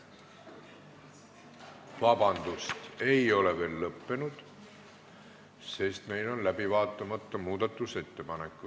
Vabandust, see ei ole veel lõppenud, sest meil on läbi vaatamata muudatusettepanekud.